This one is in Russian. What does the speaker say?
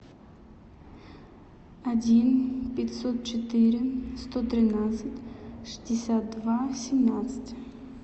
один пятьсот четыре сто тринадцать шестьдесят два семнадцать